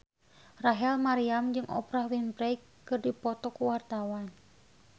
Rachel Maryam jeung Oprah Winfrey keur dipoto ku wartawan